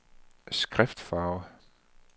skriftfarve